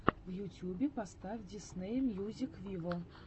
в ютюбе поставь дисней мьюзик виво